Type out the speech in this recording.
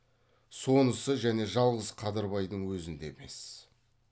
сонысы және жалғыз қадырбайдың өзінде емес